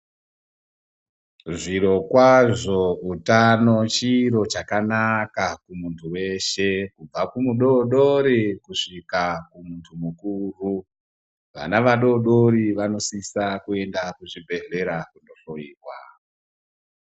Zvirokazvo utano chiro chakanaka kuntu veshe kubva kumudodori kusvika kumuntu mukuru. Vana vadodoro vanosisa kuenda kuzvibhedhlera kuno hloiwa.